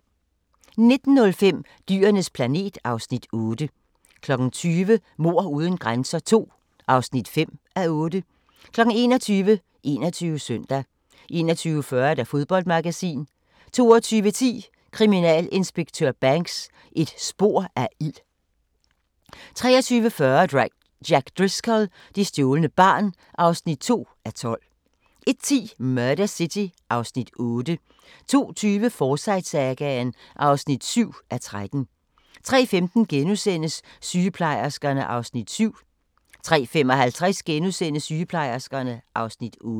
19:05: Dyrenes planet (Afs. 8) 20:00: Mord uden grænser II (5:8) 21:00: 21 Søndag 21:40: Fodboldmagasinet 22:10: Kriminalinspektør Banks: Et spor af ild 23:40: Jack Driscoll – det stjålne barn (2:12) 01:10: Murder City (Afs. 8) 02:20: Forsyte-sagaen (7:13) 03:15: Sygeplejerskerne (Afs. 7)* 03:55: Sygeplejerskerne (Afs. 8)*